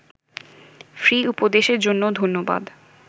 free উপদেশের জন্য ধন্যবাদ